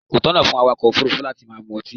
Kò tọ̀nà fún awàkọ̀ òfúrúfú láti máa mu ọtí.